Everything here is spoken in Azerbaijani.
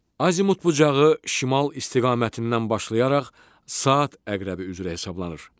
Azimut bucağı şimal istiqamətindən başlayaraq saat əqrəbi üzrə hesablanır.